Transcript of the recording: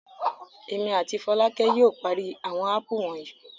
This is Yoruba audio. Èmi àti Fọlákẹ́ yóò parí àwọn ápù wonyi.